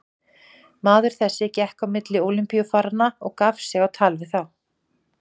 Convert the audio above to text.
Maður þessi gekk á milli Ólympíufaranna og gaf sig á tal við þá.